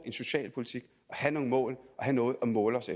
en socialpolitik have nogle mål og have noget at måle os